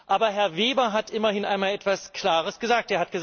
Aber Herr Weber hat immerhin einmal etwas Klares gesagt.